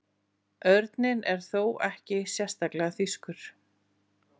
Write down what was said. Örninn er þó ekki sérstaklega þýskur.